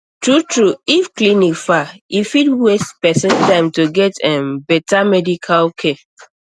true true if clinic far e um fit waste person time to get um um better medical care